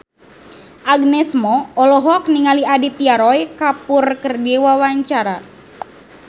Agnes Mo olohok ningali Aditya Roy Kapoor keur diwawancara